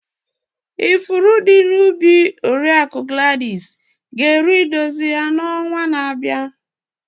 Ifuru dị na ubi Oriakụ Gladys ga eru idozi ya na ọnwa na-abịa.